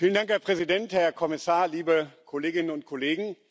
Herr Präsident, Herr Kommissar, liebe Kolleginnen und Kollegen!